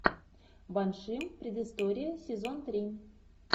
банши предыстория сезон три